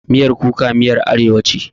Miyan kuka miyar arewa ce.